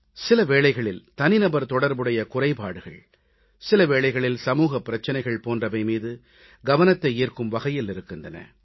சில வேளைகளில் தனிநபர் தொடர்புடைய குறைபாடுகள் சில வேளைகளில் சமூகப் பிரச்சனைகள் போன்றவை மீது கவனத்தை ஈர்க்கும் வகையில் இருக்கின்றன